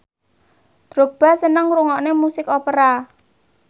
Drogba seneng ngrungokne musik opera